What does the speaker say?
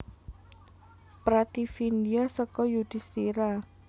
Prativindya seka Yudhistira